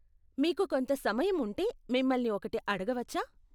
మీకు కొంత సమయం ఉంటే, మిమ్మల్ని ఒకటి అడగవచ్చా?